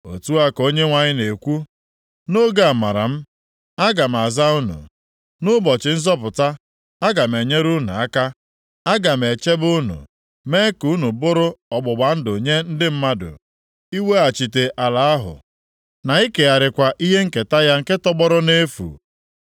Otu a ka Onyenwe anyị na-ekwu: “Nʼoge amara m, aga m aza unu, nʼụbọchị nzọpụta aga m enyere unu aka. Aga m echebe unu, mee ka unu bụrụ ọgbụgba ndụ nye ndị mmadụ, iweghachite ala ahụ na ikegharịkwa ihe nketa ya nke tọgbọrọ nʼefu;